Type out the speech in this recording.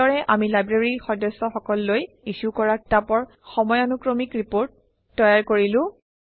এইদৰে আমি লাইব্ৰেৰীৰ সদস্যসকললৈ ইছ্যু কৰা কিতাপৰ সময়ানুক্ৰমিক ৰিপৰ্ট তৈয়াৰ কৰিলো